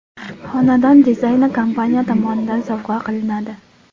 Xonadon dizayni kompaniya tomonidan sovg‘a qilinadi.